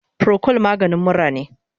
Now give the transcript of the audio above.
Procold maganin mura ne